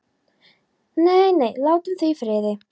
Nei, nei, látum þau í friði.